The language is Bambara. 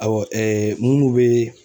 Awɔ minnu bɛ